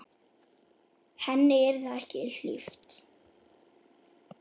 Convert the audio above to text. Henni yrði ekki hlíft.